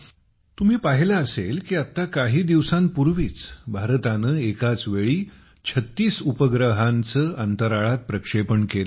तुम्ही पाहिले असेल की आत्ता काही दिवसांपूर्वीच भारताने एकाचवेळी 36 उपग्रहांचे अंतराळात प्रक्षेपण केले